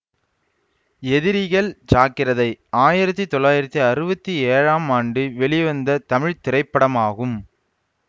எதிரிகள் ஜாக்கிரதை ஆயிரத்தி தொள்ளாயிரத்தி அறுவத்தி ஏழாம் ஆண்டு வெளிவந்த தமிழ் திரைப்படமாகும்